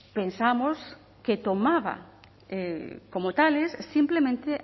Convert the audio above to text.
pensamos que tomaba como tales simplemente